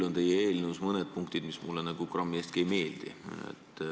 Teie eelnõus on mõned punktid, mis mulle kohe nagu grammi eestki ei meeldi.